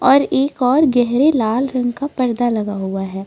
और एक और गहरे लाल रंग का पर्दा लगा हुआ है।